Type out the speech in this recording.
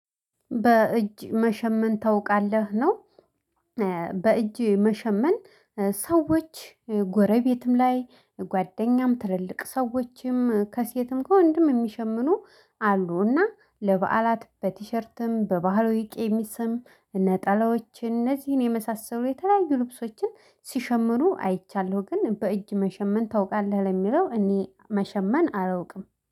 በእጅ መሸመን ታውቃለህ ነው። በእጅ መሸመን ሰዎች ጎረቤትም ላይ ጓደኛም ትልልቅ ሰዎችም ከሴትም ከወንድም የሚሸምኑ አሉና ለበዓላት በቲሸርትም በባህላዊ ቀሚሰም ነጠላዎች እነዚህን የመሳሰሉ የተለያዩ ልብሶችን ሲሸምኑ አይቻለሁ። ግን በእጅ መሸመን ታውቃለህ? ለሚለው እኔ መሸመን አላውቅም